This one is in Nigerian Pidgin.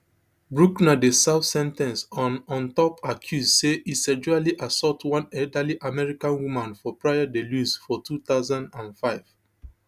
bruckner dey serve sen ten ce on on top accuse say e sexually assault one elderly american woman for praia da luz for two thousand and five